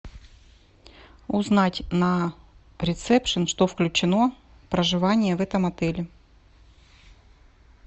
узнать на ресепшн что включено в проживание в этом отеле